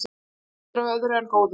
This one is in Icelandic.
Þekktur af öðru en góðu